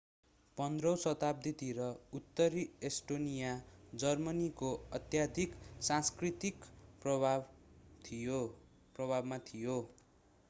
15 औं शताब्दीतिर उत्तरी एस्टोनिया जर्मनीको अत्याधिक सांस्कृतिक प्रभावमा थियो